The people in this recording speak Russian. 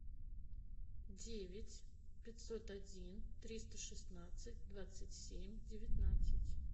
девять пятьсот один триста шестнадцать двадцать семь девятнадцать